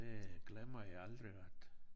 Det glemmer jeg aldrig at